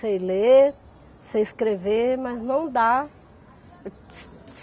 Sei ler, sei escrever, mas não dá.